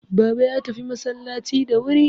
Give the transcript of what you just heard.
Baba ya tafi masallaci da wuri